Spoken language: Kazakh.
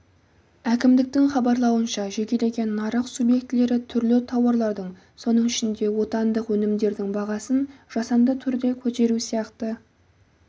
әкімдіктің хабарлауынша жекелеген нарық субъектілері түрлі тауарлардың соның ішінде отандық өнімдердің бағасын жасанды түрде көтеру сияқты